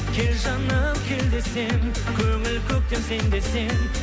кел жаным кел десем көңіл көктем сен десем